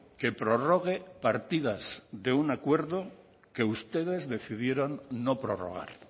que prorrogue partidas de un acuerdo que ustedes decidieron no prorrogar